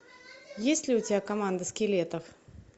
есть ли у тебя команда скелетов